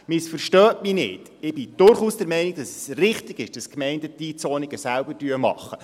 Missverstehen Sie mich nicht: Ich bin durchaus der Meinung, dass es richtig ist, dass die Gemeinden die Einzonungen selbst machen.